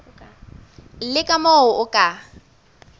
le ka moo o ka